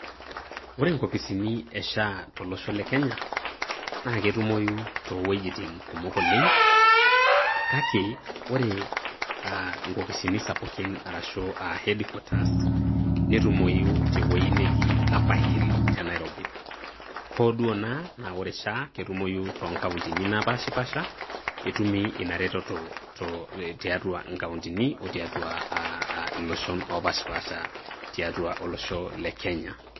Ore inkopisini e SHA tolosho le kenya, na ketumoyu to iwuejiting kumok oleng',kake ore inkopisini sapukin arashu ah headquarters ,netumoyu teweji neji Upper hill te Nairobi. Hoo duo naa ore SHA ketumoyu to nkauntini napashipasha, ketumi ina reteto tiatua inkauntini o tiatua ah iloshon opashipasha tiatua olosho le Kenya.